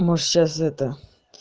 можешь сейчас это